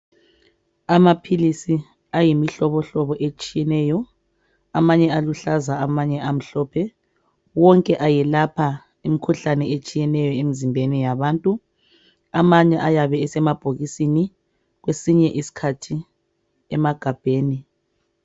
Amaphilisi ayimihlobo hlobo etshiyeneyo. Amanye aluhlaza amanye amhlophe. Wonke ayelapha imkhuhlane etshiyeneyo emzimbeni yabantu, amanye ayabe esemabhokisini kwesinye isikhathi emagabheni.